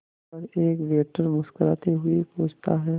पर एक वेटर मुस्कुराते हुए पूछता है